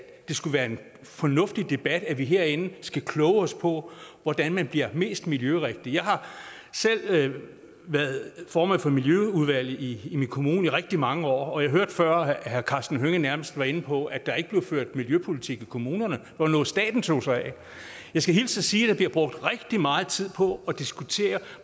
det skulle være en fornuftig debat at vi herinde skal kloge os på hvordan man bliver mest miljørigtig jeg har selv været formand for miljøudvalget i min kommune i rigtig mange år og jeg hørte før herre karsten hønge nærmest være inde på at der ikke bliver ført miljøpolitik i kommunerne og noget staten tog sig af jeg skal hilse og sige at der bliver brugt rigtig meget tid på at diskutere